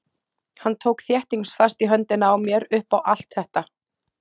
Hann tók þéttingsfast í höndina á mér upp á allt þetta.